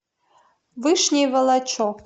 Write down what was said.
вышний волочек